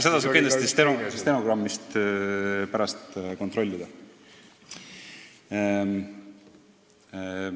Seda saab kindlasti stenogrammist pärast kontrollida.